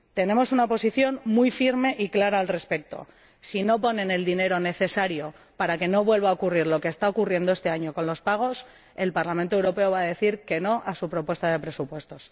Tenemos una posición muy firme y clara al respecto si no ponen el dinero necesario para que no vuelva a ocurrir lo que está ocurriendo este año con los pagos, el Parlamento Europeo va a decir que no a su propuesta de presupuestos.